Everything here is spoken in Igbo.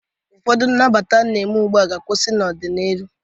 Ọfọdụ nnabata a na-eme ugbu a ga-akwụsị n'ọ dị n'iru.